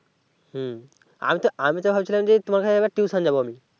হুম আমি তো আমি তো ভাবছিলাম যে তোমার কাছে tuition যাবো আমি